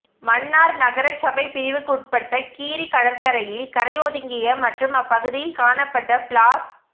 மன்னார் நகர சபை பிரிவுக்குற்பட்ட கீரி கடற்கரையில் கரை ஒதுங்கிய மற்றும் அப்பகுதியில் காணப்பட்ட பிளாஸ்